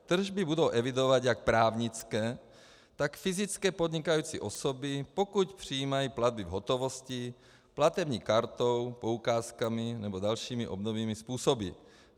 Tržby budou evidovat jak právnické, tak fyzické podnikající osoby, pokud přijímají platby v hotovosti, platební kartou, poukázkami nebo dalšími obdobnými způsoby.